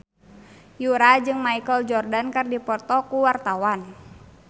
Yura jeung Michael Jordan keur dipoto ku wartawan